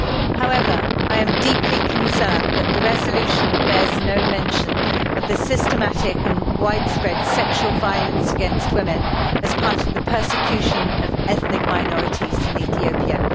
However, I am deeply concerned that the resolution bears no mention of the systematic and widespread sexual violence against women as part of the persecution of ethnic minorities in Ethiopia.